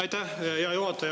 Aitäh, hea juhataja!